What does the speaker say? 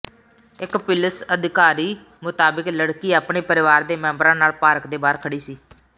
ਇਕ ਪਿੁਲਸ ਅਧਿਕਾਰੀ ਮੁਤਾਬਿਕ ਲੜਕੀ ਆਪਣੇ ਪਰਿਵਾਰ ਦੇ ਮੈਂਬਰਾਂ ਨਾਲ ਪਾਰਕ ਦੇ ਬਾਹਰ ਖੜ੍ਹੀ ਸੀ